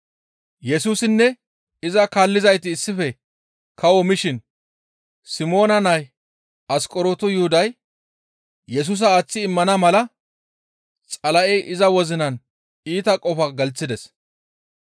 Yesusinne iza kaallizayti issife kawo mishin Simoona nay Asqoronto Yuhuday Yesusa aaththi immana mala Xala7ey iza wozinan iita qofa gelththides.